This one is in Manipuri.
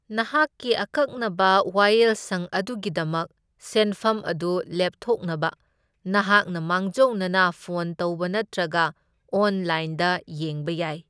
ꯅꯍꯥꯛꯀꯤ ꯑꯀꯛꯅꯕ ꯋꯥꯌꯦꯜꯁꯪ ꯑꯗꯨꯒꯤꯗꯃꯛ ꯁꯦꯟꯐꯝ ꯑꯗꯨ ꯂꯦꯞꯊꯣꯛꯅꯕ ꯅꯍꯥꯛꯅ ꯃꯥꯡꯖꯧꯅꯅ ꯐꯣꯟ ꯇꯧꯕ ꯅꯠꯇ꯭ꯔꯒ ꯑꯣꯟꯂꯥꯏꯟꯗ ꯌꯦꯡꯕ ꯌꯥꯏ꯫